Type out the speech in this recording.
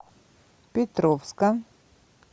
петровска